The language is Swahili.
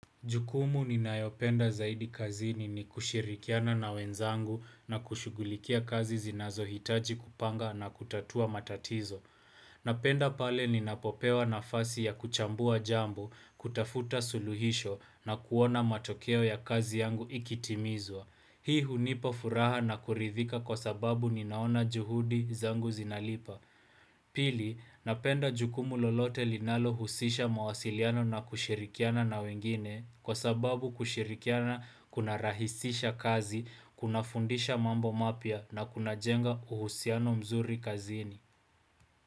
Jukumu ninayopenda zaidi kazini ni kushirikiana na wenzangu na kushughulikia kazi zinazohitaji kupanga na kutatua matatizo. Napenda pale ninapopewa nafasi ya kuchambua jambo, kutafuta suluhisho na kuona matokeo ya kazi yangu ikitimizwa. Hii hunipa furaha na kuridhika kwa sababu ninaona juhudi zangu zinalipa. Pili, napenda jukumu lolote linalohusisha mawasiliano na kushirikiana na wengine kwa sababu kushirikiana kunarahisisha kazi, kunafundisha mambo mapya na kunajenga uhusiano mzuri kazini.